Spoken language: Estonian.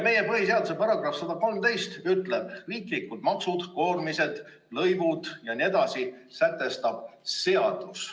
Meie põhiseaduse § 113 ütleb, et riiklikud maksud, koormised, lõivud jne sätestab seadus.